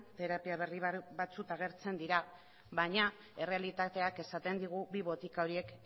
terapia berri batzuk agertzen dira baina errealitateak esaten digu bi botika horiek